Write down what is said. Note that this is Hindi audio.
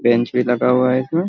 बेंच भी लगा हुआ है इसमें ।